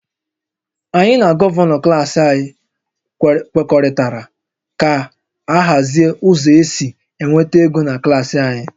Anyị na Gọvanọ klas anyị kwekọrịtara ka a hazie ụzọ esi enweta ego na klas anyị